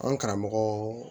An karamɔgɔ